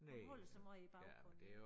Hun holder sig måj i baggrunden